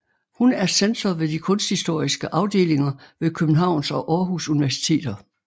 Hun er censor ved de kunsthistoriske afdelinger ved Københavns og Aarhus Universiteter